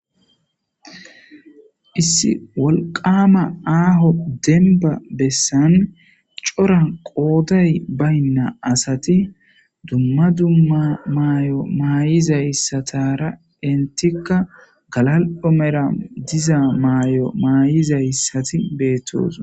issi wolqama aaho denba bessan cora qooday baynna asati dumma dumma maay7o maay7izayssatara intikka galal7o mera diza maay7o maayizayssati beettoos